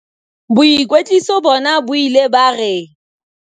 "Boikwetliso bona bo ile ba re"